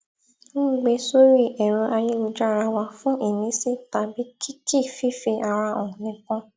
n gbé sórì ẹrọ ayélujára wà fún ìmísí tàbí kìkì fífi ara hàn nìkan